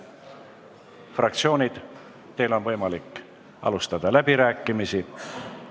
Fraktsioonid, teil on võimalik alustada läbirääkimisi.